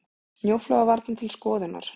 Snjóflóðavarnir til skoðunar